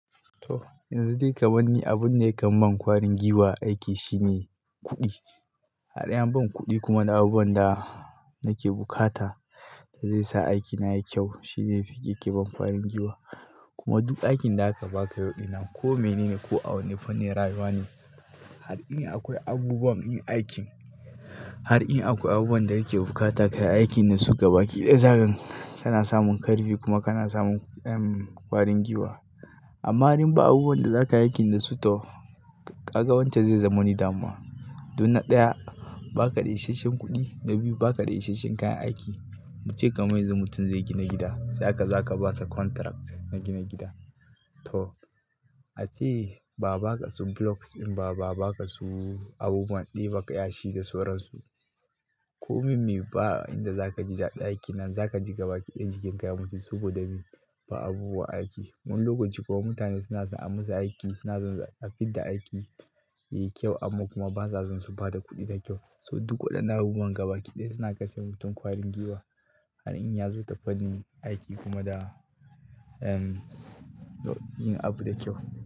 To yanzu dai kamar ni abun da yakan ban kwarin gwiwa a aiki shine kuɗi. Har in ban kuɗi kuma da abubuwan da nake bukata da zai sa aikina yayi kyau shine yake ke ban farin giwa. Kuma duk aikin da aka baka yau dinnan ko mene ne ko a wane fannin rayuwa ne, har in akwai abubuwan yin aikin, har in akwai abubuwan da yake bukata ka yi aikin da su gaba ki ɗaya zaka ga kana samun ƙarfi kuma kana samun ƙwarin gwiwa. Amma in ba abubuwan da zaka yi aikin da su toh kaga wancan zai zama wani damuwa. Dunna ɗaya ba ka da isashen kuɗi, na biyu ba ka da isashen kayan aiki. Mu ce kamar yanzu mutum zai gina gida, sa'an aka zo aka basa contract na gina gida. To ace ba a baka su blocks in ba, ba a baka su abubuwan ɗeba yashi da sauransu. Ko min me fa inda zaka ji daɗin aikin nan zaka ji gaba ƙi ɗaya jikin ka ya mutu saboda ba abubuwan aiki. Mun lokoci kuma mutane suna san ai musu aiki suna san a fidda aiki yayi kyau amma kuma basa san su ba da kuɗi da kyau. So duk waɗannan abubuwan gabaki ɗaya suna kashe mutum ƙwarin giwa. Har in ya zo ta fannin aiki kuma da, um, yin abu da kyau.